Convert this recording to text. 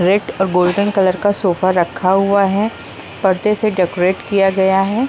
Red और golden colour का sofa रखा हुआ है परदे से डेकोरेट किया गया है।